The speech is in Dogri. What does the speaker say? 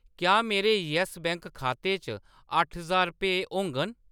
क्या मेरे यैस्स बैंक खाते च अट्ठ ज्हार रपेऽ होङन ?